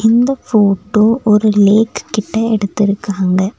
இந்த போட்டோ ஒரு லேக்கு கிட்ட எடுத்துருக்காங்க.